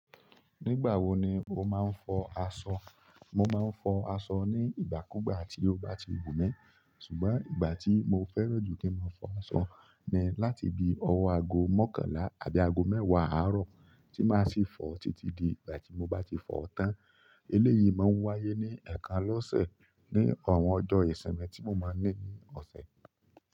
Nígbà wó ní o máa fọ aṣọ. Mo máa ń fọ aṣọ ní ìgbàkúùgbà tí ó bá ti wù mí, ṣùgbọ́n ìgbà tí mo fẹ́ràn jù kí n máa fọ aṣọ ni láti bi ọwọ́ ago mọ́kànlá àti ago mẹ́wàá àárọ̀ tí máa sì fọ títí di ìgbà tí mo bá ti fọ̀ọ́ tán. Eléyìí máa ń wáyé ní ẹ̀ẹ̀kan lọ́sẹ̀, ní àwọn ọjọ́ ìsinmi tí mo máa ń ní ní ọ̀sẹ̀.